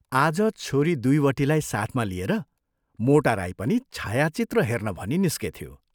आज छोरी दुइवटीलाई साथमा लिएर मोटा राई पनि छायाचित्र हेर्न